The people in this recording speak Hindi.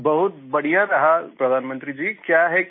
अनुभव बहुत बढ़िया रहा प्रधानमंत्री जी